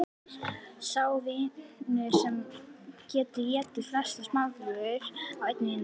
Sá vinnur sem getur étið flestar smákökur á einni mínútu.